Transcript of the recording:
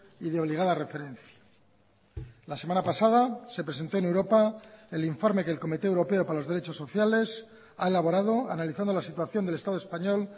y de obligada referencia la semana pasada se presentó en europa el informe que el comité europeo para los derechos sociales ha elaborado analizando la situación del estado español